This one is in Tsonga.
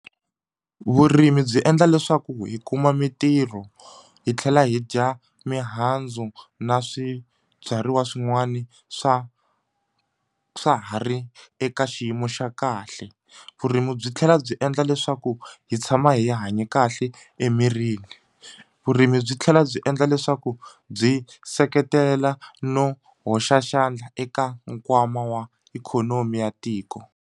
Vurimi byi endla leswaku hi kuma mintirho hi tlhela hi dya mihandzu na swibyariwa swin'wani swa swa ha ri eka xiyimo xa kahle vurimi byi tlhela byi endla leswaku hi tshama hi hanye kahle emirini vurimi byi tlhela byi endla leswaku byi seketela no hoxa xandla eka nkwama wa ikhonomi ya tiko.